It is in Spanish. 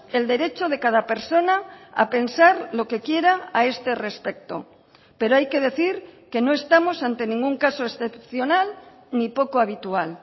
el derecho de cada persona a pensar lo que quiera a este respecto pero hay que decir que no estamos ante ningún caso excepcional ni poco habitual